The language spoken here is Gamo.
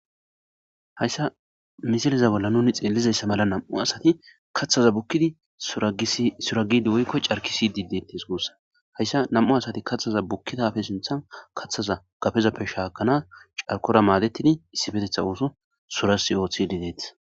hayssa misiliza bolla nuni xeellizayssa mala nam'u asati kaththaza bukkidi suragidi woykko carkisidi detes guussa hayssa nam'u asati kaththaza bukkidafe sinthan kaththaza gafezappe shaakana carkora maadetidi issifetetha ooso surasi ooththidi deets